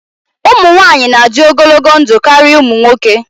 Ụmụ nwanyị na-adị ogologo ndụ karịa ụmụ nwoke.